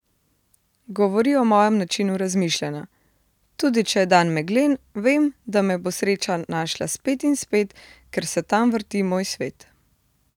Govori o mojem načinu razmišljanja: 'Tudi če je dan meglen, vem, da me bo sreča našla spet in spet, ker se tam vrti moj svet.